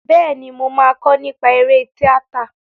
Bẹ́ẹ̀ni, mo máa kọ́ nípa eré tíátà.